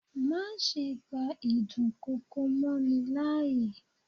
Má ṣe gba ìdún kokò mọ́ ni láàyè.